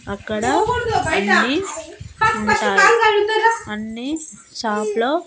అక్కడ అన్ని ఉంటాయి అన్ని షాపులో --